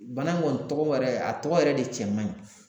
Bana in kɔni tɔgɔ yɛrɛ a tɔgɔ yɛrɛ de cɛ man ɲi